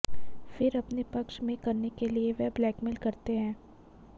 फिर अपने पक्ष में करने के लिए वे ब्लैकमेल करते हैं